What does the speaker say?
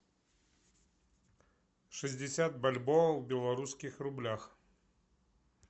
шестьдесят бальбоа в белорусских рублях